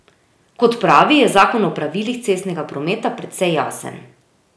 Kot pravi, je zakon o pravilih cestnega prometa precej jasen.